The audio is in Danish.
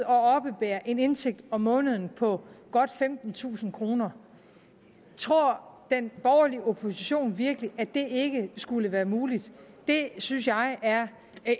oppebære en indtægt om måneden på godt femtentusind kroner tror den borgerlige opposition virkelig at det ikke skulle være muligt det synes jeg er